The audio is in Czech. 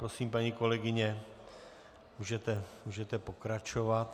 Prosím, paní kolegyně, můžete pokračovat.